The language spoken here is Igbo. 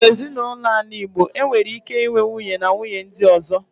Na Ezinụlọ ala Igbo, enwere ike inwe nwunye, na nwunye ndi ozo.